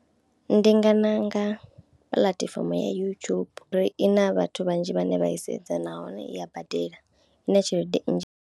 Ndi nga ṋanga puḽatifomo YouTube uri i na vhathu vhanzhi vhane vha i sedzwa nahone i ya badela ine tshelede nnzhi.